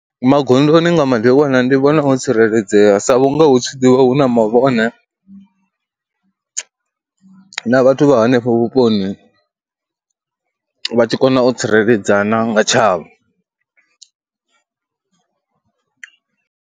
Magondoni nga madekwana ndi vhona o tsireledzea sa vhunga hu tshi ḓi vha hu na mavhone na vhathu vha hanefho vhuponi, vha tshi kona u tsireledzana nga tshavho.